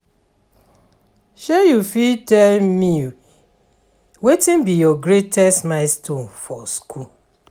you fit tell me watin be your greatest milestone for school?